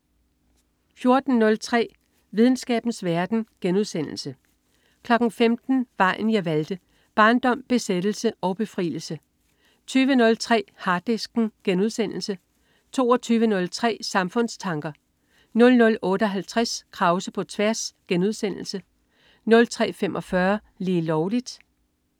14.03 Videnskabens verden* 15.00 Vejen jeg valgte. Barndom, besættelse og befrielse 20.03 Harddisken* 22.03 Samfundstanker 00.58 Krause på tværs* 03.45 Lige Lovligt*